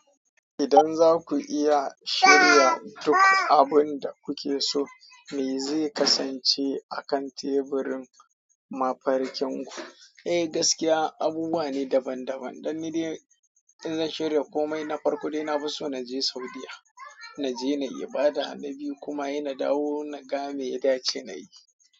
Idan zaku iya shirya duk abinda kukeso me zai kasance akan teburin mafarkin ku? Eh gaskiya abubuwa ne daban-daban. Don nidai in zan shirya komai na farko dai na fi so na je Saudiya, na je na yi ibada na biyu kuma inna dawo na ga me ya dace na yi.